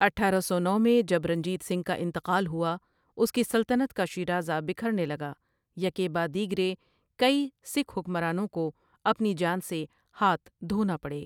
اٹھارہ سو نو میں جب رنجیت سنگھ کا انتقال ہوا اس کی سلطنت کا شیرازہ بکھرنے لگا یکے بعد دیگرے کئی سکھ حکمرانوں کو اپنی جان سے ہاتھ دھونا پڑے۔